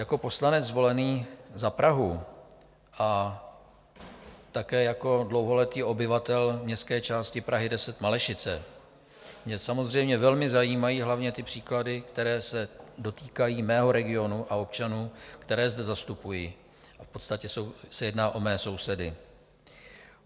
Jako poslanec zvolený za Prahu a také jako dlouholetý obyvatel městské části Prahy 10 - Malešice mě samozřejmě velmi zajímají hlavně ty příklady, které se dotýkají mého regionu a občanů, které zde zastupuji, v podstatě se jedná o mé sousedy.